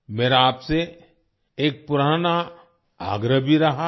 मेरा आपसे एक पुराना आग्रह भी रहा है